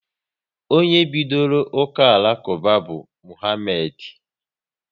Onye bidoro uka Alakuba bụ Mohamedi